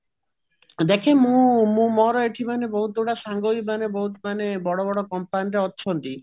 ଦେଖିବୁ ମୁଁ ମୋର ଏଇଠି ମାନେ ବହୁତ ଗୁଡେ ସାଙ୍ଗ ହିଁ ମାନେ ବହୁତ ମାନେ ବଡ ବଡ company ରେ ଅଛନ୍ତି